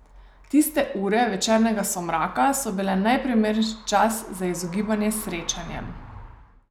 Tiste ure večernega somraka so bile najprimernejši čas za izogibanje srečanjem.